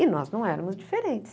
E nós não éramos diferentes.